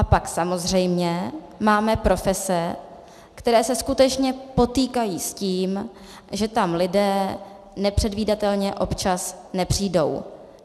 A pak samozřejmě máme profese, které se skutečně potýkají s tím, že tam lidé nepředvídatelně občas nepřijdou.